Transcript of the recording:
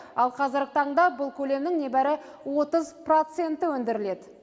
ал қазіргі таңда бұл көлемнің небары отыз проценті өндіріледі